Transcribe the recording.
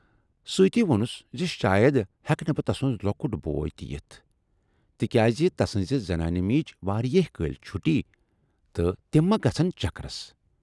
سۭتی وونس زِ شاید ہیٚکہٕ نہٕ تسُند لۅکُٹ بوے تہِ یِتھ، تِکیازِ تسٕنزِ زنانہِ میٖج واریاہ کٲلۍ چھُٹی تہٕ تِم ما گَژھن چکرس۔